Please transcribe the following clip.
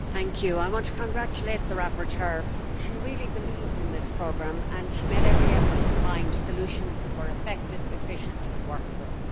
Mr President, I want to congratulate the rapporteur. She really believed in this programme and made every effort to find solutions that were effective, efficient and workable.